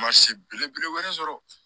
Ma se belebele wɛrɛ sɔrɔ